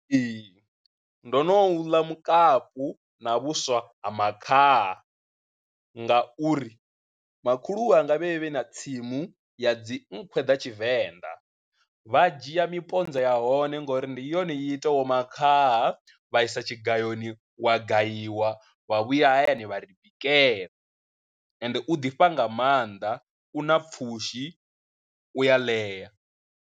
Ee, ndo no u ḽa mukapu na vhuswa ha makhaha ngauri, makhulu wanga vhe vhe na tsimu ya dzi nkhwe ḓa tshivenḓa vha dzhia miponza ya hone ngori ndi yone i itaho makhaha vha isa tshigayoni wa gayiwa wa vhuya hayani vha ri bikela, ende u ḓifha nga maanḓa u na pfhushi, u ya ḽea.